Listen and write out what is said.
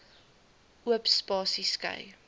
oop spasies skei